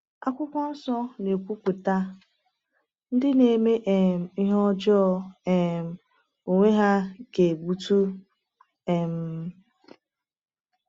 Akwụkwọ Nsọ na-ekwupụta: “Ndị na-eme um ihe ọjọọ um onwe ha ga-egbutu... um